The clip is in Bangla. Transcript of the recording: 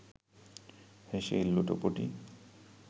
হেসেই লুটোপুটি